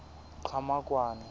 qhamakwane